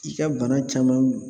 I ka bana caman